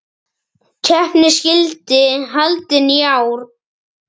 Keppnin skyldi haldin í ár.